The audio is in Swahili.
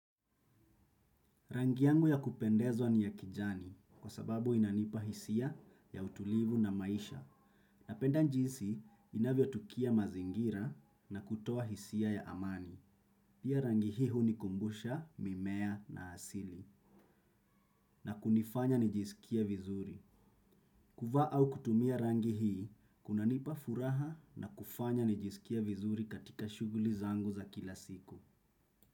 Rangi yangu ya kupendezwa ni ya kijani kwa sababu inanipa hisia ya utulivu na maisha. Na penda jinsi inavyo tukia mazingira na kutoa hisia ya amani. Pia rangi hii hu ni kumbusha mimea na asili na kunifanya nijisikie vizuri. Kuvaa au kutumia rangi hii, kunanipa furaha na kufanya nijisikie vizuri katika shughuli zangu za kila siku.